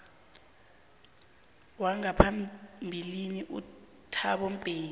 wangaphambilini uthabo mbeki